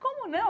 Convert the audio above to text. Como não?